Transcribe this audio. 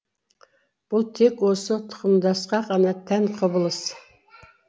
бұл тек осы тұқымдасқа ғана тән құбылыс